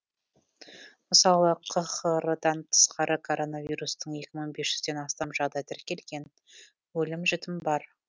мысалы қхр дан тысқары коронавирустың екі мың бес жүзден астам жағдай тіркелген өлім жітім бар